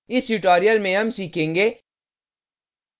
इस tutorial में हम सीखेंगे